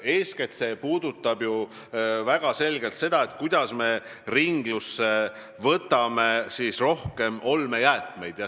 Eeskätt puudutab see ju väga selgelt seda, kuidas võtta ringlusesse rohkem olmejäätmeid.